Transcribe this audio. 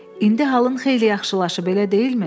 İndi halın xeyli yaxşılaşıb, elə deyilmi?